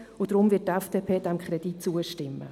Deshalb wird die FDP diesem Kredit zustimmen.